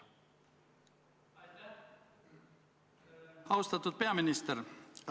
Austatud peaminister!